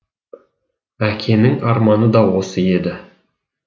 әкеңнің арманы да осы еді